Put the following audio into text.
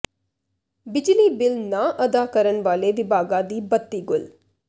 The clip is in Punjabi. ਬਿਜਲੀ ਬਿੱਲ ਨਾ ਅਦਾ ਕਰਨ ਵਾਲੇ ਵਿਭਾਗਾਂ ਦੀ ਬੱਤੀ ਗੁੱਲ